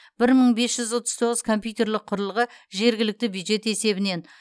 бір мың бес жүз отыз тоғыз компьютерлік құрылғы жергілікті бюджет есебінен